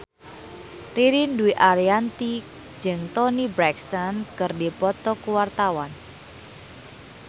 Ririn Dwi Ariyanti jeung Toni Brexton keur dipoto ku wartawan